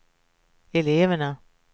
eleverna